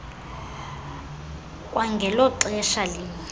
kwangelo xesha linye